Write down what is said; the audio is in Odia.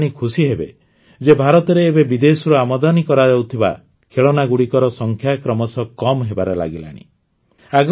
ଆପଣମାନେ ଜାଣି ଖୁସିହେବେ ଯେ ଭାରତରେ ଏବେ ବିଦେଶରୁ ଆମଦାନୀ କରାଯାଉଥିବା ଖେଳନାଗୁଡ଼ିକର ସଂଖ୍ୟା କ୍ରମଶଃ କମ୍ ହେବାରେ ଲାଗିଲାଣି